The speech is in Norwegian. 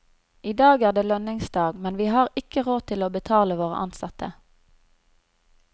I dag er det lønningsdag, men vi har ikke råd til å betale våre ansatte.